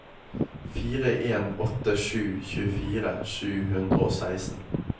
fire en åtte sju tjuefire sju hundre og seksten